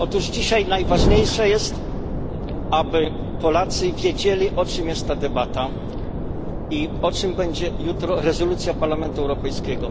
Dzisiaj najważniejsze jest, aby Polacy wiedzieli, o czym jest ta debata i o czym będzie jutro rezolucja Parlamentu Europejskiego.